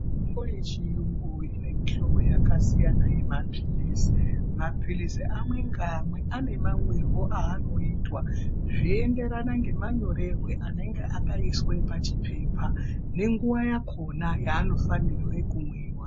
Mitombo yechiyungu ine mihlobo yakasiyana yemapirizi. Mapiririzi amwe ngaamwe ane mamwirwo aanoitwa zveienderana nemanyorerwo aanenge akaitwa pachipepa nenguwa yakona yaanofanira kumwiwa.